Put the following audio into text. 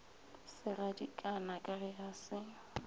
segadikana ka ge a se